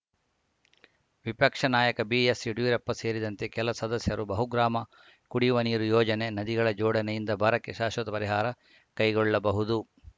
ವಿಪಕ್ಷ ನಾಯಕ ಬಿಎಸ್‌ಯಡಿಯೂರಪ್ಪ ಸೇರಿದಂತೆ ಕೆಲ ಸದಸ್ಯರು ಬಹುಗ್ರಾಮ ಕುಡಿಯುವ ನೀರು ಯೋಜನೆ ನದಿಗಳ ಜೋಡಣೆಯಿಂದ ಬರಕ್ಕೆ ಶಾಶ್ವತ ಪರಿಹಾರ ಕೈಗೊಳ್ಳಬಹುದು